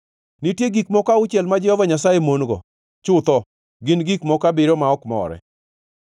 Nitie gik moko auchiel ma Jehova Nyasaye mon-go, chutho gin gik moko abiriyo ma ok more: